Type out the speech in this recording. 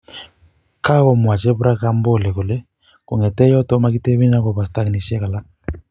Kagomwa jebra kambole kole kongeteeyotok makitebenin agoba stakinishet alak